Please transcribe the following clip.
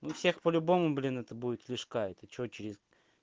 у всех по-любому блин это будет лишь гайд и что через